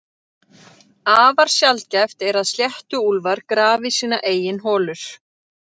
Afar sjaldgæft er að sléttuúlfar grafi sínar eigin holur.